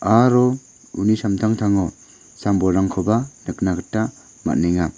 aro uni samtangtango sam-bolrangkoba nikna gita man·enga.